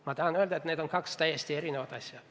Ma tahan öelda, et need on kaks täiesti eri asja.